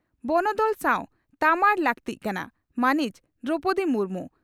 ᱵᱚᱱᱚᱫᱚᱞ ᱥᱟᱣ ᱛᱟᱢᱟᱲ ᱞᱟᱹᱠᱛᱤᱜ ᱠᱟᱱᱟ ᱺ ᱢᱟᱹᱱᱤᱡ ᱫᱨᱚᱣᱯᱚᱫᱤ ᱢᱩᱨᱢᱩ